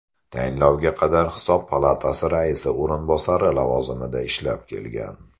Tayinlovga qadar Hisob palatasi raisi o‘rinbosari lavozimida ishlab kelgan.